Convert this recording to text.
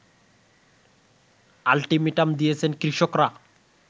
ultimatum দিয়েছেন কৃষকরা